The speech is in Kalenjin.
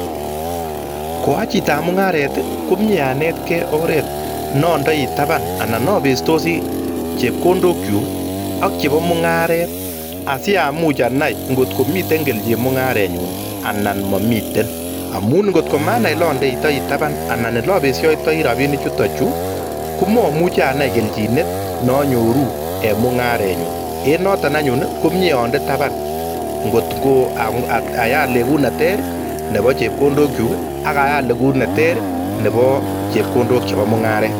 Koa chitoab mungaret, komnyee anetkei oret no andoi taban anan ne apestosi chepkondokchu ak chebo mungaret asi amuch anai ngotko mitei kelchin mungarenyun anan mamiten amun ngotko manai ole andeitoi taban anan ole apeishiotoi rapini chutochu komamuchi anai kelchinet nanyoruun en mungarenyuun, en noto anyuun komnyee ande taban, ngotko ayat legut neter nebo chepkondokyu ak ayat legut neter nebo chepkondok chebo mungaret.